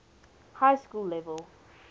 high school level